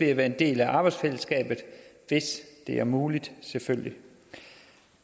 at være en del af arbejdsfællesskabet hvis det er muligt selvfølgelig